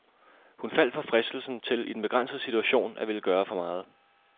Han faldt for fristelsen til, i den begrænsede situation, at ville gøre for meget.